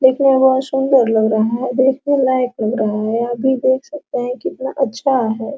दिखने में बहोत सुंदर लग रहा है देखने लायक लग रहा है आप भी देख सकते हैं कि कितना अच्छा है।